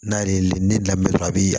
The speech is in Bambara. N'a ye ne daminɛ dɔrɔn a bɛ yen